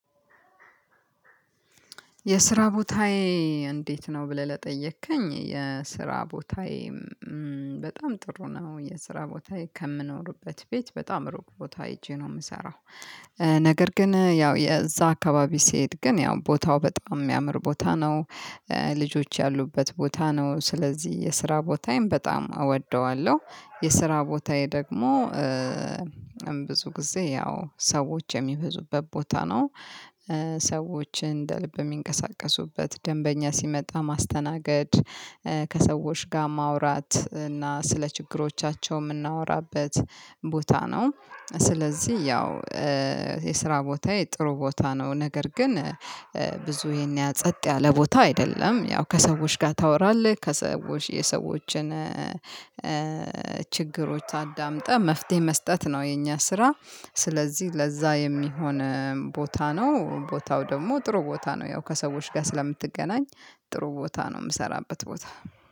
የስራ ቦታዬ እንዴት ነው ብለህ ለጠየከኝ የስራ ቦታዬ በጣም ጥሩ ነው የስራ ቦታዬ ከምኖርበት ቤት በጣም ሩቅ ቦታ ሄጄ ነው የምሰራው ነገር ግን ያው የዛ አካባቢ ስሄድ ግን ያው ቦታው በጣም የሚያምር ቦታ ነው። ልጆች ያሉበት ቦታ ነው ስለዚህ የስራ ቦታዬን በጣም እወደዋለሁ የስራ ቦታዬ ደግሞ ብዙ ጊዜ ያው ሰዎች የሚበዙበት ቦታ ነው። ሰዎችን እንደ ልብ የሚንቀሳቀሱበት ደንበኛ ሲመጣ ማስተናገድ። ከሰዎች ጋር ማውራት እና ስለ ችግሮቻቸው የምናወራበት ቦታ ነው። ስለዚህ ያው የስራ ቦታዬ የጥሩ ቦታ ነው ነገር ግን ብዙ ይሄን ያ ጸጥ ያለ ቦታ አይደለም ያው ከሰዎች ጋር ታወራለህ ከሰዎች የሰዎችን ችግሮች ታዳምጣ መፍትሄ መስጠት ነው የኛ ስራ። ስለዚህ ለዛ የሚሆን ቦታ ነው ቦታው ደግሞ ጥሩ ቦታ ነው ያው ከሰዎች ጋር ስለምትገናኝ ጥሩ ቦታ ነው ምሰራበት ቦታ።